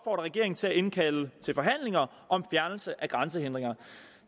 regeringen til at indkalde til forhandlinger om fjernelse af grænsehindringer